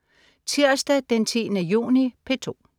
Tirsdag den 10. juni - P2: